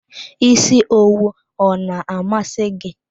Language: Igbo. Isi owu ọ na amasi gị?